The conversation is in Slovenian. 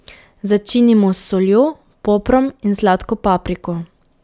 Začinimo s soljo, poprom in sladko papriko.